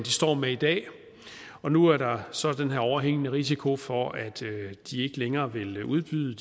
står med i dag nu er der så den her overhængende risiko for at de ikke længere vil udbyde